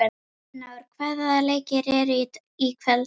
Elínór, hvaða leikir eru í kvöld?